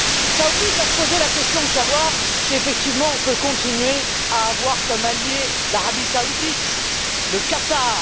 Cela oblige à se poser la question de savoir si, effectivement, on peut continuer à avoir comme alliés l'Arabie Saoudite et le Qatar.